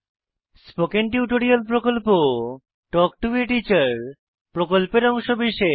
spoken tutorial প্রকল্প talk to a teacher প্রকল্পের অংশবিশেষ